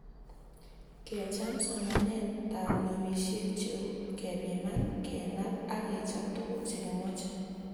kecham somanetab nobishet cheu; kepiman, kenap ak kechap tuguk chegimache